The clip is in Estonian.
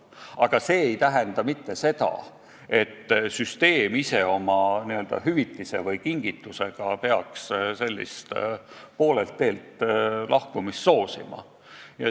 Aga see ei tähenda, et süsteem ise oma hüvitise või kingitusega peaks sellist poolelt teelt lahkumist soosima.